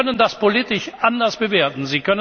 Sie können das politisch anders bewerten.